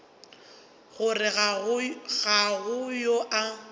gore ga go yo a